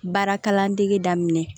Baara kalandege daminɛ